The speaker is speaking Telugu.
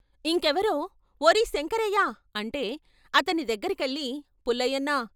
ఇంకెవరో 'ఓరేయ్ శంకరయ్య' అంటే అతని దగ్గరకెళ్ళి 'పుల్లయ్యన్నా...